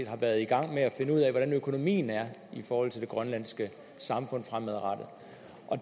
har været i gang med at finde ud af hvordan økonomien er i forhold til det grønlandske samfund fremadrettet